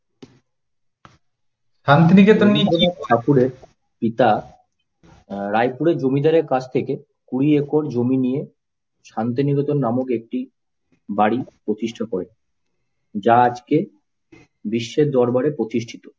ঠাকুরের পিতা রায়পুরের জমিদারের কাছ থেকে কুড়ি একর জমি নিয়ে শান্তিনিকেতন নামে একটি বাড়ি প্রতিষ্ঠা করেন। যা আজকে বিশ্বের দরবারে প্রতিষ্ঠিত।